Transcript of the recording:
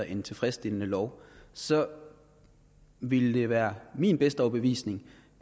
en tilfredsstillende lov så ville det være min bedste overbevisning